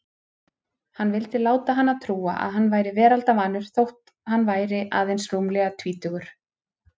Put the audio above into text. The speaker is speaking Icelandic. Hann vildi láta hana trúa að hann væri veraldarvanur þótt hann væri aðeins rúmlega tvítugur.